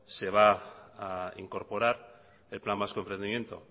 se va a incorporar el plan vasco de emprendimiento